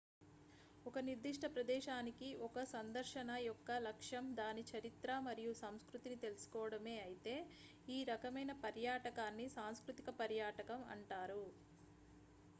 ఒక నిర్దిష్ట ప్రదేశానికి 1 సందర్శన యొక్క లక్ష్యం దాని చరిత్ర మరియు సంస్కృతిని తెలుసుకోవడమే అయితే ఈ రకమైన పర్యాటకాన్ని సాంస్కృతిక పర్యాటకం అంటారు